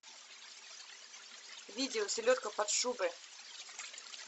видео селедка под шубой